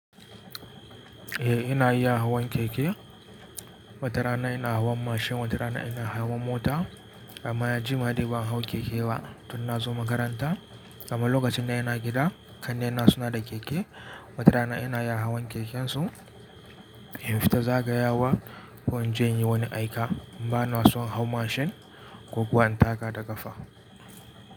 Eh ina iya hawan keke. Watara ina hawan mashin, watara ina hawan mota amma jima dai ban hau keke ba tun na zo makaranta. Amma lokacin da ina gida, ƙannena suna da keke. Watara ina iya hawan kekensu in fita zagayawa ko in je inyi wani aika. Ba na son hau mashin ko kuwa in taka da ƙafa.